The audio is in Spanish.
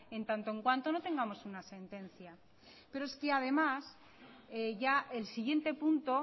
en tanto en cuanto no tengamos una sentencia pero es que además ya el siguiente punto